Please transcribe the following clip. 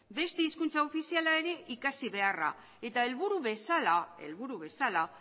beste hizkuntza ofiziala ere ikasi beharra eta helburu bezala helburu bezala